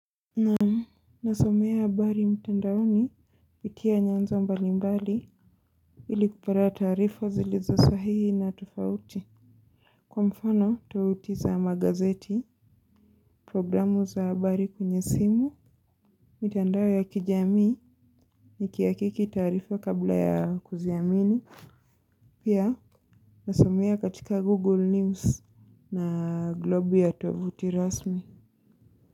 Naam nasomea habari mtandaoni pitia nyanja mbalimbali ili kupata taarifa zilizo sahihi na tofauti. Kwa mfano toti za magazeti, programu za habari kwenye simu, mitandao ya kijamii ni kiakiki taarifa kabla ya kuziamini pia nasomea katika google news na globu ya tovuti rasmi.